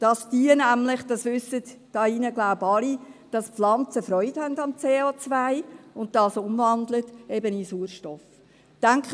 Ich denke, Sie alle in diesem Saal wissen, dass die Pflanzen am CO Freude haben und dieses in Sauerstoff umwandeln.